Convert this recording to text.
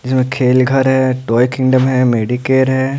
जिसमें खेल घर है टॉय किंगडम है मेडिकेयर है ।